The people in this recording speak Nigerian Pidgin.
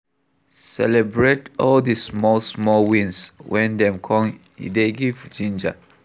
Celebrate all di small small wins when dem come e dey give ginger